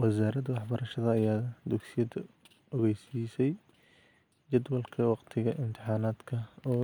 Wasaaradda waxbarashada ayaa dugsiyada ogeysiisay jadwalka waqtiga imtixaanaadka oo